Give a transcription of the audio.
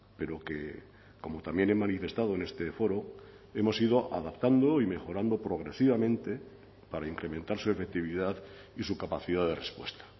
pero que como también he manifestado en este foro hemos ido adaptando y mejorando progresivamente para incrementar su efectividad y su capacidad de respuesta